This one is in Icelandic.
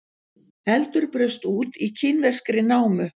Eldur braust út í kínverskri námu